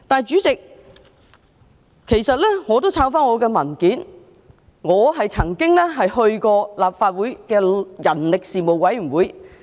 主席，其實我翻查自己的文件後，發現自己曾加入人力事務委員會。